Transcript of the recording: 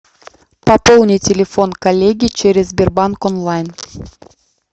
пополни телефон коллеге через сбербанк онлайн